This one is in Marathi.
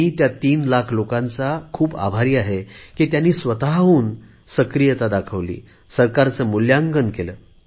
मी त्या 3 लाख लोकांचा खूप आभारी आहे की त्यांनी स्वतहून सक्रियता दाखवली सरकारचे मुल्यांकन केले